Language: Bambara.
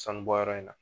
Sanubɔyɔrɔ in na